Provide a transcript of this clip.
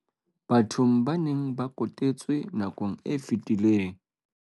bathong ba neng ba kotetswe nakong e fetileng.